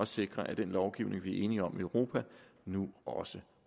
sikre at den lovgivning vi er enige om i europa nu også